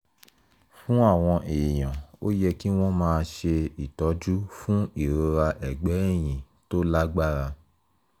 fún àwọn èèyàn ó yẹ kí wọ́n máa ṣe ìtọ́jú fún ìrora ẹ̀gbẹ́ ẹ̀yìn tó lágbára